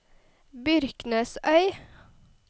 Byrknesøy